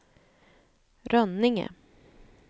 Rönninge